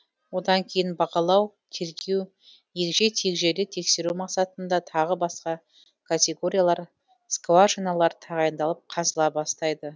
одан кейін бағалау тергеу егжей тегжейлі тексеру мақсатында тағы басқа категориялар скважиналар тағайындалып қазыла бастайды